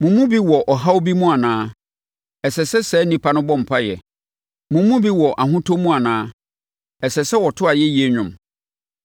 Mo mu bi wɔ ɔhaw bi mu anaa? Ɛsɛ sɛ saa onipa no bɔ mpaeɛ. Mo mu bi wɔ ahotɔ mu anaa? Ɛsɛ sɛ ɔto ayɛyie nnwom.